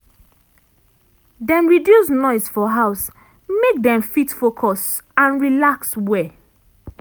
dem reduce noise for house make dem fit focus and relax well.